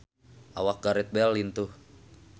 Awak Gareth Bale lintuh